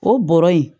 O bɔrɔ in